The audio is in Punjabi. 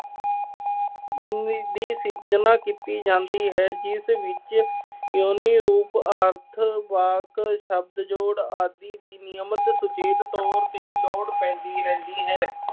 ਦੀ ਜਮ੍ਹਾ ਕੀਤੀ ਜਾਂਦੀ ਹੈ, ਜਿਸ ਵਿੱਚ ਜ਼ੁਬਾਨੀ ਰੂਪ ਅਰਥ, ਵਾਕ, ਸ਼ਬਦ ਜੋੜ ਆਦਿ ਨਿਯਮਤ ਸੁਚੇਤ ਤੌਰ ਤੇ ਲੋੜ ਪੈਂਦੀ ਰਹਿੰਦੀ ਹੈ।